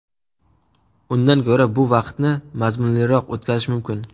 Undan ko‘ra bu vaqtni mazmunliroq o‘tkazish mumkin.